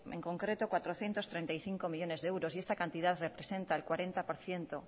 en concreto cuatrocientos treinta y cinco millónes de euros y esta cantidad representa el cuarenta por ciento